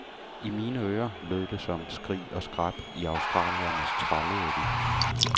I mine ører lød det som skrig og skræp, i australiernes trallede de.